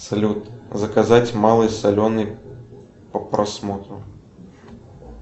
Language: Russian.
салют заказать малый соленый по просмотру